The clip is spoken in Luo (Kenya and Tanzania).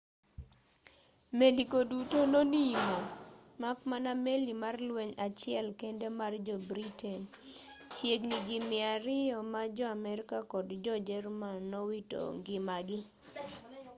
meli go duto nonimo mak mana meli mar lweny achiel kende mar jo-britain chiegni ji 200 ma jo-amerka kod jo-jerman nowito ngimagi